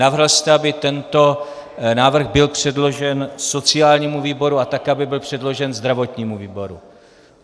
Navrhl jste, aby tento návrh byl předložen sociálnímu výboru a také aby byl předložen zdravotnímu výboru.